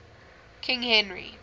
king henry